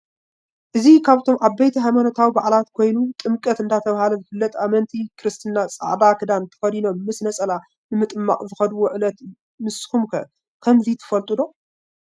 እዚ ካብቶም ዓበይቲ ሃይማኖታዊ በዓላት ኮየኑ ጥምቀት ዳ ተብሃለ ዝፍለጥ አመንቲ ክረስትና ፃዕዳ ክዳነ ተከዲኖመ ምስ ነፀላ ነምጥማቅ ዘከደዎ ዕለት እዩ። ንሰኩም ከ ከመዚ ትፈለጡ ዶ?